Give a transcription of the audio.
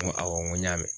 N ko awɔ n ko n y'a mɛn